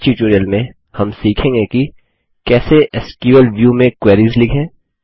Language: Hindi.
इस ट्यूटोरियल में हम सीखेंगे कि कैसे एसक्यूएल व्यू में क्वेरीस लिखें